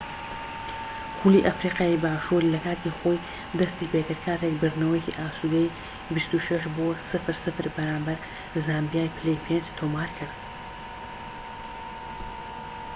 خولی ئەفریقیای باشوور لە کاتی خۆی دەستی پێکرد کاتێک بردنەوەیەکی ئاسودەی 26-00 بەرامبەر زامبیای پلەی پێنج تۆمارکرد